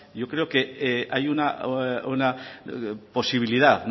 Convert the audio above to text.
yo creo que hay una posibilidad